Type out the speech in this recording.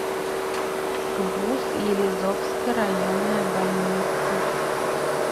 гбуз елизовская районная больница